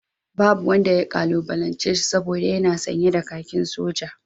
Babu wanda ya kalubalance shi saboda yana sanye da kakin soja